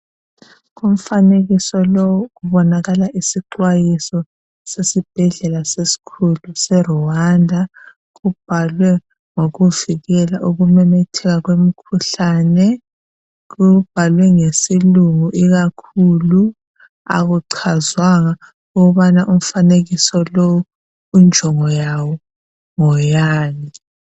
kumfanekiso lo kubonakala isixwayiso sesibhedlela esikhulu se Rwanda kubhalwe ngokuvikela ukumemetheka kwemikhuhlane kubhalwe ngesilungu ikakhulu akuchazwanga ukubana umfanekiso lo injongo yawo ngeyani